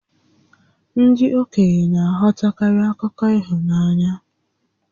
Ndị okenye na-aghọtakarị akụkọ ịhụnanya